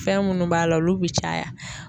Fɛn munnu b'a la olu bɛ caya.